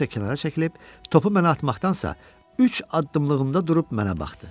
Özü isə kənara çəkilib, topu mənə atmaqdansa üç addımlığında durub mənə baxdı.